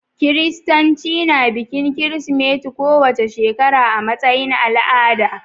Kiristanci na bikin Kirsimeti kowace shekara a matsayin al'ada